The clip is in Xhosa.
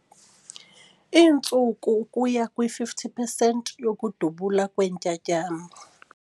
Iintsuku ukuya kwi-50 percent yokudubula kweentyatyambo.